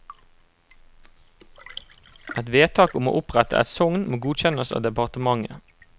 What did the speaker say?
Et vedtak om å opprette et sogn må godkjennes av departementet.